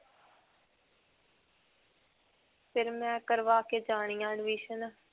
ਫਿਰ ਮੈਂ ਕਰਵਾ ਕੇ admission.